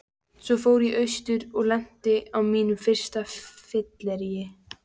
Svo fór ég austur og lenti á mínu fyrsta fylleríi.